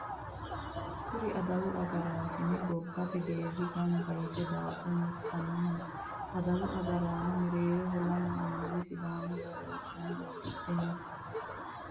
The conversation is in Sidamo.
Kuri adawu agaraasinenna gobate geeri gamba yite daabo murtanni no. Adawu agaraano mereeroho lamu anuwa sidaamu daga udano udidhe no.